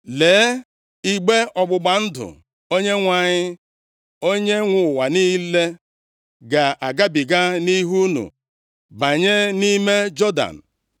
Lee, igbe ọgbụgba ndụ Onyenwe anyị, Onyenwe ụwa niile ga-agabiga nʼihu unu banye nʼime Jọdan.